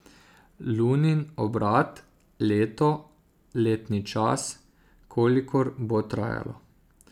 Lunin obrat, leto, letni čas, kolikor bo trajalo.